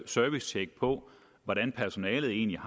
servicetjek på hvordan personalet egentlig